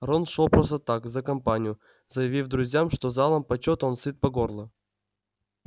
рон шёл просто так за компанию заявив друзьям что залом почёта он сыт по горло